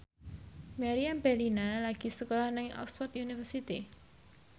Meriam Bellina lagi sekolah nang Oxford university